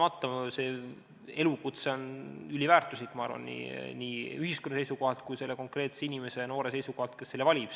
See elukutse on kahtlemata üliväärtuslik nii ühiskonna seisukohalt kui ka konkreetse noore inimese seisukohalt, kes selle valib.